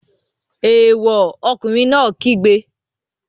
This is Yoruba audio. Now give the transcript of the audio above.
Èèwọ̀! Ọkùnrin náà kígbe.